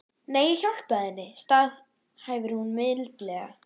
Nei, ég hjálpaði henni, staðhæfir hún mildilega.